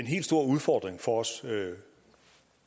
helt store udfordring for os